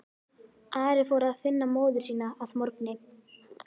Ari fór að finna móður sína að morgni.